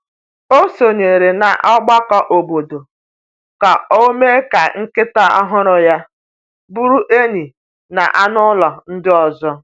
O sonyeere n’ọgbakọ obodo ka o mee ka nkịta ọhụrụ ya bụrụ enyi na anụ ụlọ ndị ọzọ.